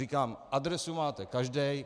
Říkám, adresu máte každý.